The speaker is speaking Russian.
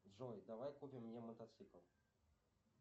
джой давай купим мне мотоцикл